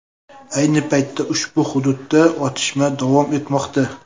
Ayni paytda ushbu hududda otishma davom etmoqda.